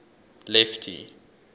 lefty